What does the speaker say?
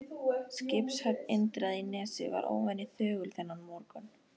Skipshöfn Indriða í Nesi var óvenju þögul þennan morgun.